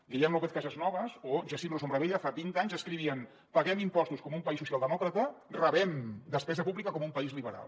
guillem lópez casasnovas o jacint ros hombravella fa vint anys escrivien paguem impostos com un país socialdemòcrata rebem despesa pública com un país liberal